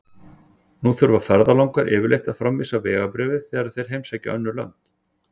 Nú þurfa ferðalangar yfirleitt að framvísa vegabréfi þegar þeir heimsækja önnur lönd.